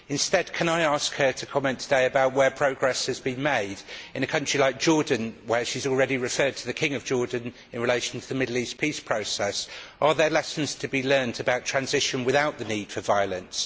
Instead can I ask her to comment today about where progress has been made in a country like Jordan, and she has already referred to the King of Jordan in relation to the Middle East peace process. Are there lessons to be learned about transition without the need for violence?